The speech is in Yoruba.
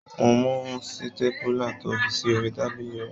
Mo mú sítépùlà to fi sí orí tábìlì rẹ.